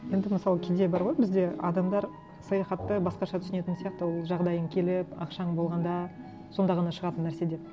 енді мысалы кейде бар ғой бізде адамдар саяхатты басқаша түсінетін сияқты ол жағдайың келіп ақшаң болғанда сонда ғана шығатын нәрсе деп